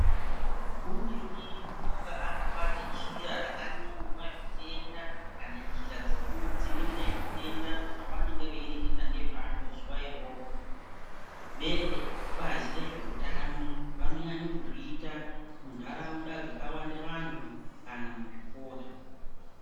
Umweni unonga akabate jira rakanyorwa zvitenda kana njira dzekudziwirire zvitenda zvavanonga veireketa ngezvazvo zuva iroro. Vebazi rezveutano vanonyanye kuzviita muntaraunda dzakawande vantu kana muzvikora.